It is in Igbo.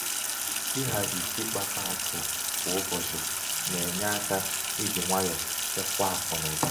ịhazi ịkpakọ akụ ịhazi ịkpakọ akụ kwa ụbọchị na-enye aka i ji nwayọ chekwaa akụnaụba.